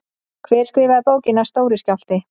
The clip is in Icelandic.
Hver skrifaði bókina Stóri skjálfti?